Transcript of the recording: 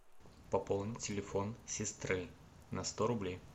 пополни телефон сестры на сто рублей